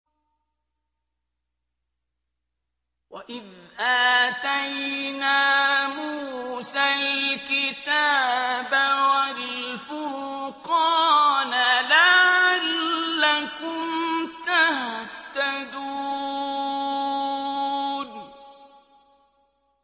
وَإِذْ آتَيْنَا مُوسَى الْكِتَابَ وَالْفُرْقَانَ لَعَلَّكُمْ تَهْتَدُونَ